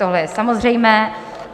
Tohle je samozřejmé.